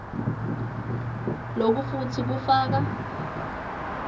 loku futsi kufaka